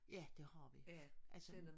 Ja det har vi altså